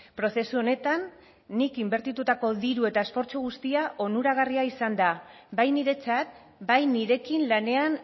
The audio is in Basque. prozesu honetan nik inbertitutako diru eta esfortzu guztia onuragarria izan da bai niretzat bai nirekin lanean